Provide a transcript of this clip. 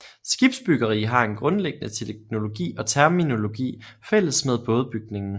Skibsbyggeri har en grundlæggende teknologi og terminologi fælles med bådebygning